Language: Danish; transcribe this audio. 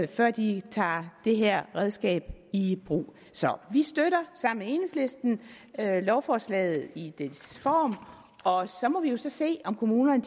før de tager det her redskab i brug så vi støtter sammen med enhedslisten lovforslaget i dets form og så må vi jo så se om kommunerne